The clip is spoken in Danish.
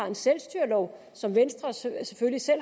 en selvstyrelov som venstre selv